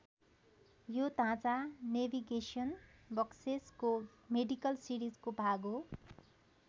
यो ढाँचा नेभिगेसन बक्सेसको मेडिकल सिरिजको भाग हो।